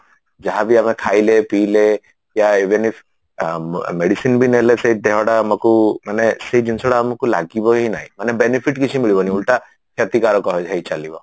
ଯାହା ବି ଆମେ ଖାଇଲେ ପିଇଲେ ୟା even if medicine ବି ନେଲେ ସେଇ ଦେହଟା ଆମକୁ ମାନେ ସେଇଜିନିଷଟା ଆମକୁ ଲାଗିବାହିଁ ନାଇଁ ମାନେ benefit କିଛି ମିଳିବନି ଓଲଟା କ୍ଷତିକାର ହେଇ ହେଇ ଚାଲିବ